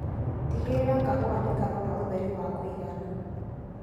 Tigĩrĩra kahũa nĩkarona ũtheri wa kũigana.